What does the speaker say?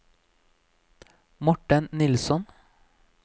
Morten Nilsson